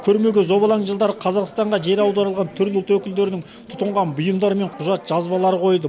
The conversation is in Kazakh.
көрмеге зобалаң жылдары қазақстанға жер аударылған түрлі ұлт өкілдерінің тұтынған бұйымдары мен құжат жазбалары қойылды